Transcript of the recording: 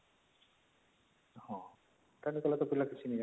ହଁ ପିଲା କିଛି ନାଇଁ